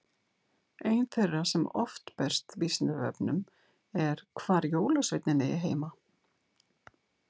Ein þeirra sem oft berst Vísindavefnum er hvar jólasveinninn eigi heima?